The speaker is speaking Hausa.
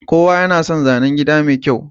Kowa yana son zanen gida mai kyau.